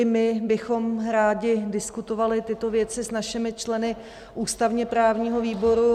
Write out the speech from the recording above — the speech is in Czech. I my bychom rádi diskutovali tyto věci s našimi členy ústavně-právního výboru.